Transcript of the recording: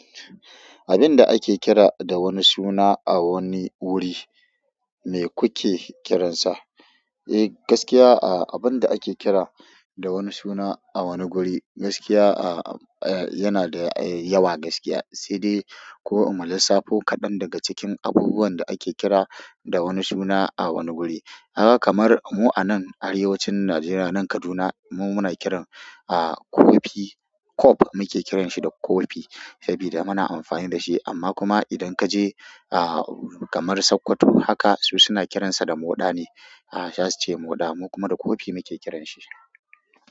Abin da ake kira da wani suna a wani wuri, me kuke kiransa? Eh, gaskiya, a abin da ake kira da wani suna a wani guri, gaskiya a yana da yawa gaskiya, sai dai ko mu lissafo kaɗan daga cikin abubuwan da ake kira da wani suna a wani guri. Kaga kamar mu a nan arewacin Nigeria nan Kaduna mu muna kiran ah. Kofi, kof muke kiranshi da kofi, sabida muna amfani da shi. Amma kuma idan kaje ah. Kaman Sokoto haka su suna kiransa da moɗa ne, ahh. Da su ce moɗa, mu kuma da kofi muke kiranshi.